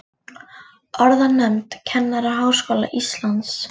Orðanefnd Kennaraháskóla Íslands.